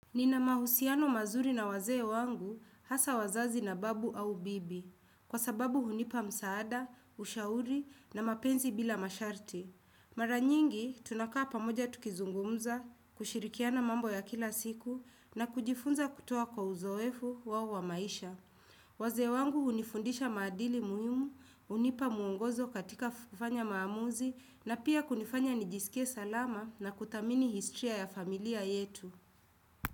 Nina mahusiano mazuri na wazee wangu, hasa wazazi na babu au bibi. Kwa sababu hunipa msaada, ushauri na mapenzi bila masharti. Mara nyingi, tunakaa pamoja tukizungumza, kushirikiana mambo ya kila siku, na kujifunza kutoa kwa uzoefu wao wa maisha. Wazee wangu hunifundisha maadili muhimu, hunipa mwongozo katika kufanya maamuzi, na pia kunifanya nijisikie salama na kuthamini historia ya familia yetu.